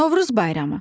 Novruz bayramı.